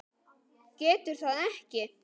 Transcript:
Getur það ekki.